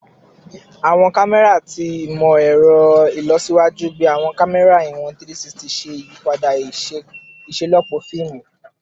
Awọn kamẹra ati awọn imọ-ẹrọ ilọsiwaju bii awọn kamẹra iwọn 360 ṣe iyipada iṣelọpọ fiimu